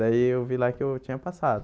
Daí eu vi lá que eu tinha passado.